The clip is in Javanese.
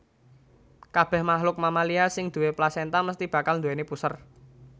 Kabèh makhluk mamalia sing duwé plasenta mesthi bakal nduwèni puser